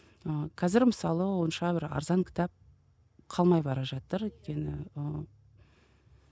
ыыы қазір мысалы онша бір арзан кітап қалмай бара жатыр өйткені ііі